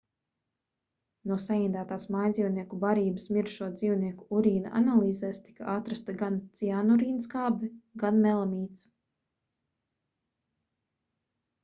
no saindētās mājdzīvnieku barības mirušo dzīvnieku urīna analīzēs tika atrasta gan ciānurīnskābe gan melamīns